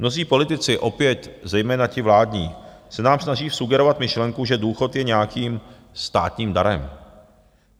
Mnozí politici, opět zejména ti vládní, se nám snaží vsugerovat myšlenku, že důchod je nějakým státním darem.